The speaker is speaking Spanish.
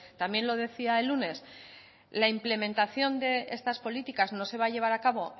también lo decía el lunes la implementación de estas políticas no se va a llevar a cabo